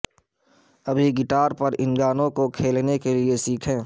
ابھی گٹار پر ان گانےز کو کھیلنے کے لئے سیکھیں